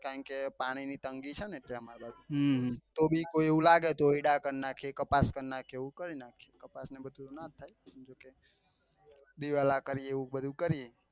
કારણ કે પાણી ની તંગી છે ને એટલે અમાર બાજુ તો બી કોઈ એવું લાગે તો એડા કર નાખીએ કપાસ કર નાખીએ એવું બધું કર નાખીએ કપાસ ને એવું બધું નના થાય કેમ કે દિવેલા કરીએ એવું બધું કરીએ.